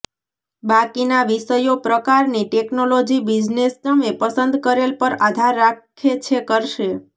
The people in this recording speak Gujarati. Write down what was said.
બાકીના વિષયો પ્રકારની ટેક્નોલોજી બિઝનેસ તમે પસંદ કરેલ પર આધાર રાખે છે કરશે